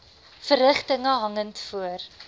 verrigtinge hangend voor